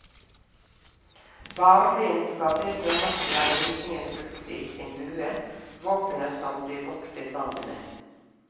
Barlind var det tremateriale vikingene brukte i sin bue, våpenet som de voktet landet med.